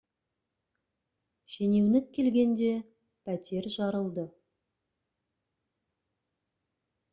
шенеунік келгенде пәтер жарылды